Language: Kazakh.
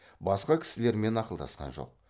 басқа кісілермен ақылдасқан жоқ